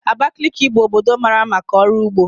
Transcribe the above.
Abakaliki bụ obodo mara maka ọrụ ugbo